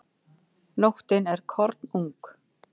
Nóttin er kornung.